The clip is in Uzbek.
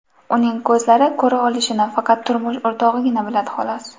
Uning ko‘zlari ko‘ra olishini faqat turmush o‘rtog‘igina biladi, xolos.